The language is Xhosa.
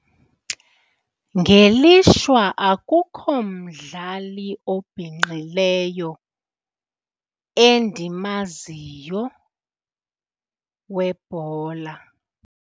Ngelishwa akukho mdlali obhinqileyo endimaziyo webhola.